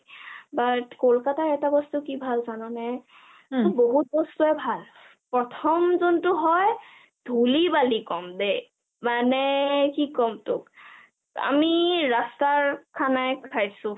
but কলকতাত এটা বস্তু কি ভাল জাননে? বহুত বস্তুয়ে ভাল, প্ৰথম যোনটো হয় ধূলি-বালি কম দেই মানে কি কম তোক আমি ৰাস্তাৰ খানাই খাইছো